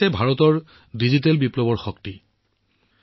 এয়া হৈছে ভাৰতৰ ডিজিটেল বিপ্লৱৰ শক্তি